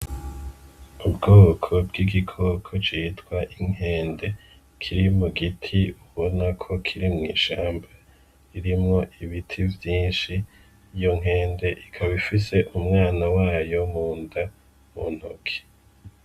Ubwoko bw’igikoko citwa Inkende kiri mu giti ubona ko Kiri mw’ishamba irimwo ibiti vyinshi , iyo nkende ikaba ifise umwana wayo munda mu ntoke.